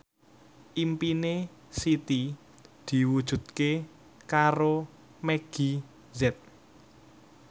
impine Siti diwujudke karo Meggie Z